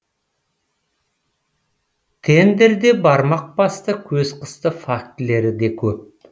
тендерде бармақ басты көз қысты фактілері де көп